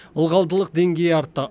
ылғалдылық деңгейі артты